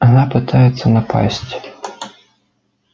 она попытается напасть